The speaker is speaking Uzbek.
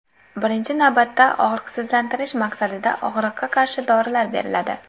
Birinchi navbatda og‘riqsizlantirish maqsadida og‘riqqa qarshi dorilar beriladi.